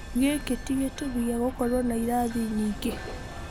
Gĩkĩ tĩ gĩtũmi gĩa gũkorwo na irathi nyingĩ.